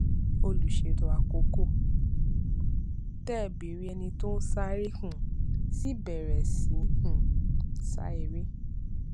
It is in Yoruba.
olùṣètò àkókò tẹ bẹrẹ ẹni tó ń sáré um sì bèrè sì um sa eré